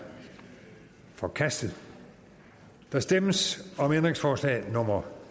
forkastet der stemmes om ændringsforslag nummer